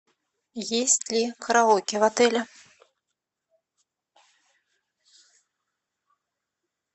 есть ли караоке в отеле